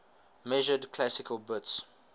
measured classical bits